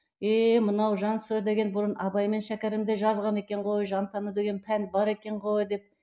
еее мынау жансірі деген бұрын абай мен шәкәрімде жазған екен ғой жан тәні деген пән бар екен ғой деп